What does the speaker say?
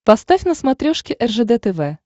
поставь на смотрешке ржд тв